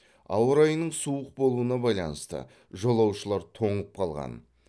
ауа райының суық болуына байланысты жолаушылар тоңып қалған